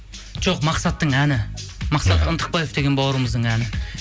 жоқ мақсаттың әні мақсат ынтықбаев деген бауырымыздың әні